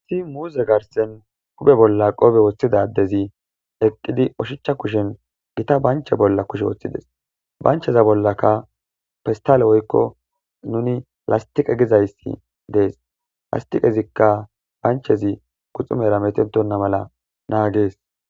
isi muuze garsen hupe bolla qoobe woththidadezi eqqidi oshichcha kushen gita banche bolla kushe woththides bancheza bollakka pestale woykko nuni lastiqa gizayssi dees lastiqezikka banchezi kuxumera metentonna mala naagees